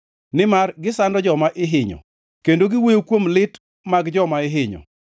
Nimar gisando joma ihinyo kendo giwuoyo kuom lit mag joma ihinyo.